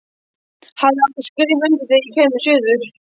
Hafði átt að skrifa undir þegar ég kæmi suður.